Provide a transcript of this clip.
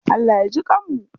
Allah ya jiƙanmu.